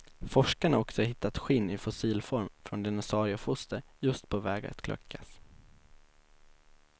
Forskarna har också hittat skinn i fossilform från dinosauriefoster, just på väg att kläckas.